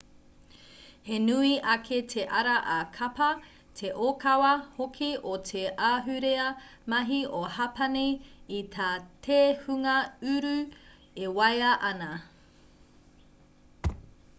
he nui ake te ara ā-kapa te ōkawa hoki o te ahurea mahi o hapani i tā te hunga uru e waia ana